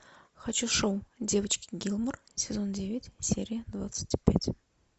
хочу шоу девочки гилмор сезон девять серия двадцать пять